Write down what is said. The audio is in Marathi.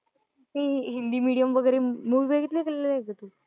ते हिन्दी मेडीयम वगैरे मूव्हिस बघितल्या का नाही कधी?